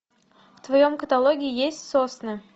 в твоем каталоге есть сосны